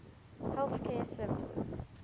health care services